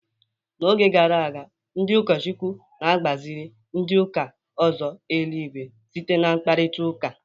N'oge gara aga, ndị ụkọchukwu na-agbaziri ndị ụka ụzọ eluigwe site n'mkparitaUka.